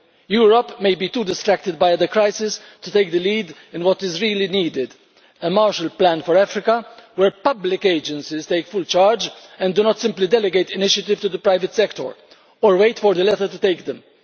Europe may be too distracted by the crisis to take the lead in what is really needed a Marshall Plan for Africa where public agencies take full charge and do not simply delegate initiatives to the private sector or wait for the latter to take them.